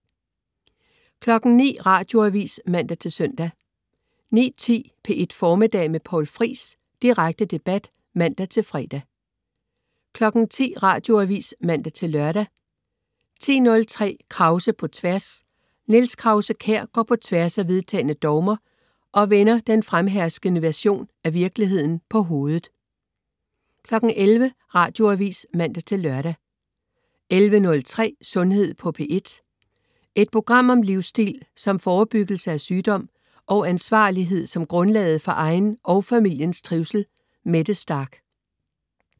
09.00 Radioavis (man-søn) 09.10 P1 Formiddag med Poul Friis. Direkte debat (man-fre) 10.00 Radioavis (man-lør) 10.03 Krause på Tværs. Niels Krause-Kjær går på tværs af vedtagne dogmer og vender han den fremherskende version af virkeligheden på hovedet 11.00 Radioavis (man-lør) 11.03 Sundhed på P1. Et program om livsstil som forebyggelse af sygdom, og ansvarlighed som grundlaget for egen og familiens trivsel. Mette Starch